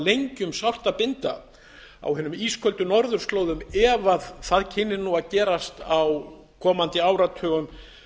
lengi um sárt að binda á hinum í ísköldu norðurslóðum ef það kynni nú að gerast á komandi áratugum